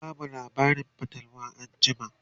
zaka bamu labarin fatalwa anjima?